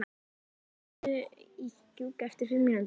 Heida, hringdu í Gjúka eftir fimm mínútur.